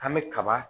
An bɛ kaba